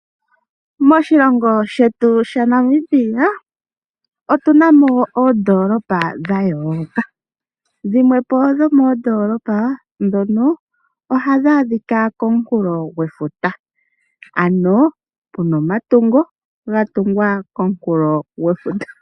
Moshilongo shetu sha Namibia, otuna mo oondoolopa dha yooloka. Dhimwepo dhomoondoolopa dhono ohadhi adhika komukulo gwefuta. Ano puna omatungo ga tungwa komukulo gwefuta.